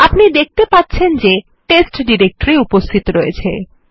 আপনি দেখতে পাচ্ছেন যে টেস্ট ডিরেক্টরি উপস্থিত রয়েছে